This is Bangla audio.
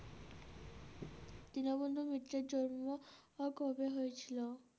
দীনবন্ধু মিত্রের জন্ম কবে হয়েছিল?